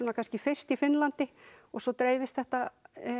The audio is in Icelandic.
kannski fyrst í Finnlandi og svo dreifist þetta